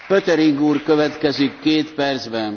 Herr Präsident, liebe Kolleginnen und Kollegen!